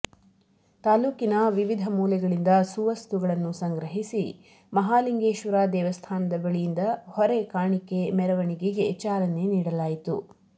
ತಾಲೂಕಿನ ವಿವಿಧ ಮೂಲೆಗಳಿಂದ ಸುವಸ್ತುಗಳನ್ನು ಸಂಗ್ರಹಿಸಿ ಮಹಾಲಿಂಗೇಶ್ವರ ದೇವಸ್ಥಾನದ ಬಳಿಯಿಂದ ಹೊರೆಕಾಣಿಕೆ ಮೆರವಣಿಗೆಗೆ ಚಾಲನೆ ನೀಡಲಾಯಿತು